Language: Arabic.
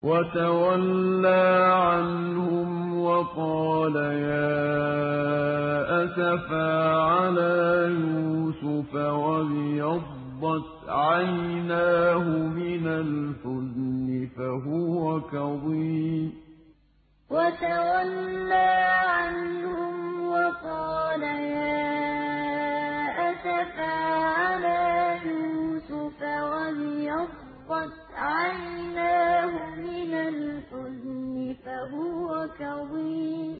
وَتَوَلَّىٰ عَنْهُمْ وَقَالَ يَا أَسَفَىٰ عَلَىٰ يُوسُفَ وَابْيَضَّتْ عَيْنَاهُ مِنَ الْحُزْنِ فَهُوَ كَظِيمٌ وَتَوَلَّىٰ عَنْهُمْ وَقَالَ يَا أَسَفَىٰ عَلَىٰ يُوسُفَ وَابْيَضَّتْ عَيْنَاهُ مِنَ الْحُزْنِ فَهُوَ كَظِيمٌ